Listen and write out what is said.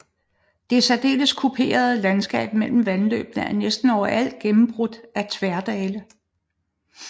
Det særdeles kuperede landskab mellem vandløbene er næsten overalt gennembrudte af tværdale